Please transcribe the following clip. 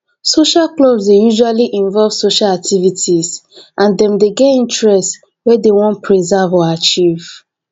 social clubs dey usually invove social activities and dem dey get interest wey dem wan preserve or achieve